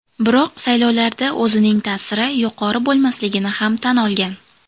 Biroq saylovlarda o‘zining ta’siri yuqori bo‘lmasligini ham tan olgan.